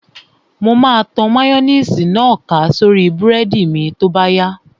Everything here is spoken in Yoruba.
Mo máa tan máyóníìsì náà ká sórí búrẹ́dì mi tó bá yá